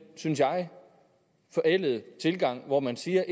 synes jeg forældede tilgang op hvor man siger at